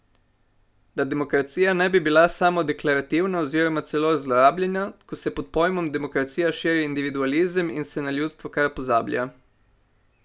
Da demokracija ne bi bila samo deklarativna oziroma celo zlorabljena, ko se pod pojmom demokracija širi individualizem in se na ljudstvo kar pozablja.